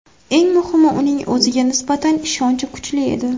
Eng muhimi, uning o‘ziga nisbatan ishonchi kuchli edi.